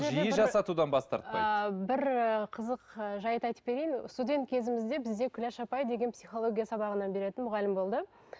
жиі жасатудан бас тарпайды ыыы бір ы қызық ы жайт айтып берейін студент кезімізде бізде гүлаш апай деген психология сабағынан беретін мұғалім болды